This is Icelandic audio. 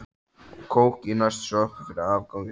Og kók í næstu sjoppu fyrir afganginn.